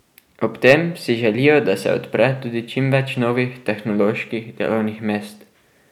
Ob tem si želijo, da se odpre tudi čim več novih tehnoloških delovnih mest.